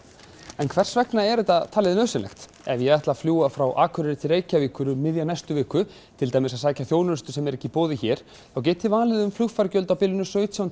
en hvers vegna er þetta talið nauðsynlegt ef ég ætla að fljúga frá Akureyri til Reykjavíkur um miðja næstu viku til dæmis að sækja þjónustu sem er ekki í boði hér þá get ég valið um fargjöld á bilinu sautján